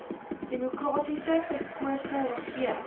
demokraties verkose regering